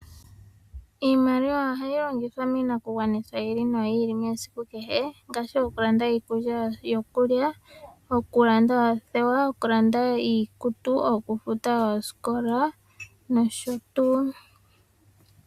Iimaliwa ohayi longithwa miinakugwanithwa yi ili no yi ili yesiku kehe, ngaashi okulanda iikulya yokulya, okulanda oothewa, okulanda iikutu, okufuta oosikola nosho tuu.